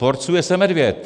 Porcuje se medvěd!